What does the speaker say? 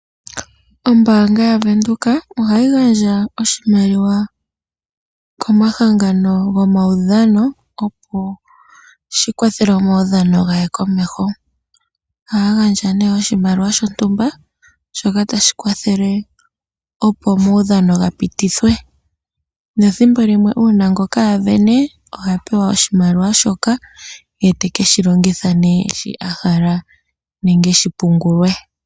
Ombaanga yaVenduka ohayi gandja oshimaliwa komahangano gwo maudhano opo shi kwathele omaudhano gaye komeho . Ohaya gandja nee oshimaliwa shontumba shoka tashi kwathele opo omaudhano ga pitithwe ,ethimbolimwe uuna ngoka asindana ohapewa oshimaliwa shoka etekeshi longitha nee shi a hala nenge shipungulwe